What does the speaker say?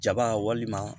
Jaba walima